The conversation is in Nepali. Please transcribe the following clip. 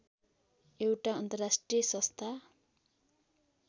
एउटा अन्तर्राष्ट्रिय संस्था